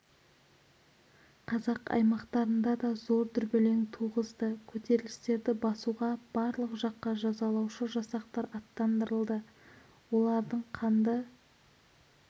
қазақ аймақтарында да зор дүрбелең туғызды көтерілістерді басуға барлық жаққа жазалаушы жасақтар аттандырылды олардың қанды